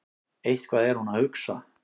Eitthvað er hún að hugsa.